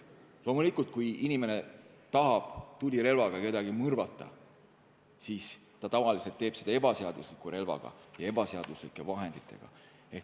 Loomulikult, kui inimene tahab tulirelvaga kedagi mõrvata, siis tavaliselt teeb ta seda ebaseadusliku relvaga ja ebaseaduslike vahenditega.